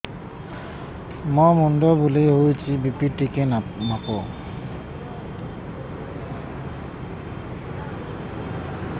ମୋ ମୁଣ୍ଡ ବୁଲେଇ ହଉଚି ବି.ପି ଟିକେ ମାପ